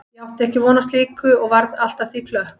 Ég átti ekki von á slíku og varð allt að því klökk.